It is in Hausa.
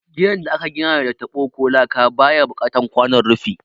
Gidan da aka gina da taɓo ko laka baya buƙatan kwanon rufi